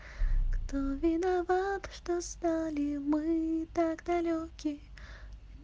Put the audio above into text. кто виноват что стали мы так далеки